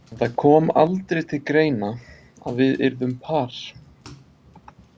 En það kom aldrei til greina að við yrðum par.